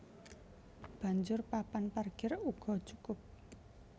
Banjur papan parkir uga cukup